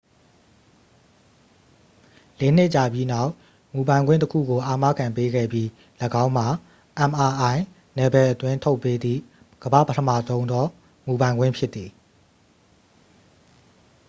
လေးနှစ်ကြာပြီးနောက် မူပိုင်ခွင့်တစ်ခုကို အာမခံပေးခဲ့ပြီး ၎င်းမှာ mri နယ်ပယ်အတွင်း ထုတ်ပေးသည့် ကမ္ဘ့ာပထမဆုံးသော မူပိုင်ခွင့်ဖြစ်သည်